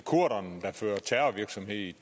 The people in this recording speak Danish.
ikke